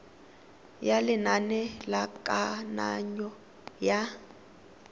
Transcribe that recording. ya lenane la kananyo ya